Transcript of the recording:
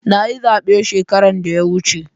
Na yi zabe shekaran da ya wuce.